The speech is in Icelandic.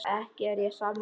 Ekki er ég sammála því.